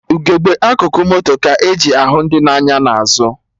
Ugegbe akụkụ moto ka-eji ahụ ndị na-anya n'azụ